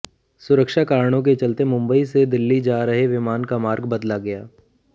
सुरक्षा कारणों के चलते मुंबई से दिल्ली जा रहे विमान का मार्ग बदला गया